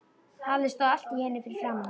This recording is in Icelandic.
Halli stóð allt í einu fyrir framan hann.